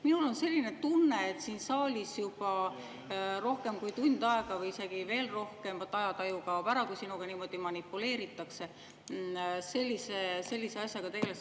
Minul on selline tunne, et siin saalis juba rohkem kui tund aega või isegi veel rohkem – vaat ajataju kaob ära, kui sinuga niimoodi manipuleeritakse – selle asjaga tegeldakse.